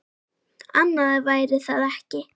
Annað væri það ekki.